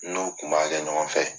N'o kun b'a kɛ ɲɔgɔn fɛ.